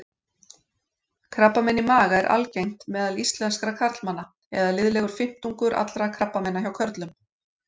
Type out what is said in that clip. Krabbamein í maga er algengt meðal íslenskra karlmanna eða liðlegur fimmtungur allra krabbameina hjá körlum.